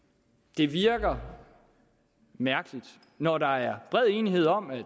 det virker mærkeligt når der er bred enighed om at